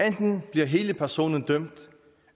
enten bliver hele personen dømt